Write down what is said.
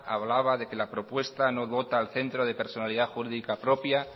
hablaba de que la propuesta no dota al centro de personalidad jurídica propia